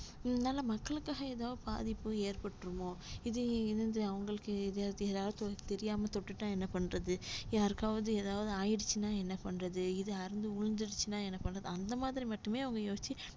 இதனால மக்களுக்காக ஏதாவது பாதிப்பு ஏற்பட்டுருமோ இது இது வந்து அவங்களுக்கு எதாவது ஏதாச்சு தெரியாம தொட்டுட்டா என்ன பண்றது யாருக்காவது எதாவது ஆயிடுச்சுன்னா என்ன பண்றது இது அறுந்து விழுந்துருச்சுன்னா என்ன பண்ண அந்த மாதிரி மட்டுமே அவங்க யோசிச்சு